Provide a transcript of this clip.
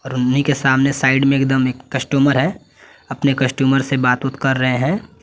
उन्हीं के सामने साइड में एकदम एक कस्टमर है अपने कस्टमर से बातूत कर रहे हैं।